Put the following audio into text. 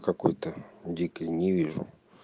какой-то дикий не вижу